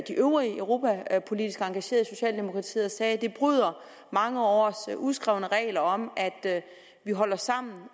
øvrige europapolitisk engagerede i socialdemokratiet og sagde det bryder mange års uskrevne regler om at vi holder sammen